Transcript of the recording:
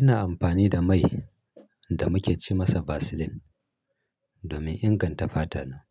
Ina amfani da mai da muke ce masa Vaseline domin inganta fata.